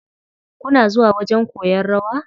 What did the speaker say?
Kuna zuwa wajen koyan rawa.